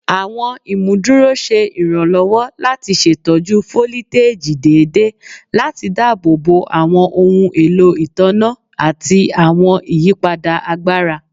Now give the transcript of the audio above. Awọn imuduro ṣe iranlọwọ lati ṣetọju foliteji deede lati daabobo awọn ohun elo itanna lati awọn iyipada agbara